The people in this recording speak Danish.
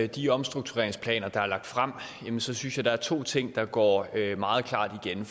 de omstruktureringsplaner der er lagt frem så synes jeg der er to ting der går meget klart igen